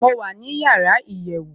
mo wà ní yàrá iyèwù